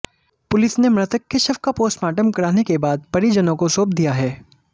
police ने मृतक के शव का पोस्टमार्टम कराने के बाद परिजनों को सौंप दिया है